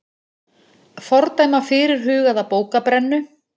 Fordæma fyrirhugaða bókabrennu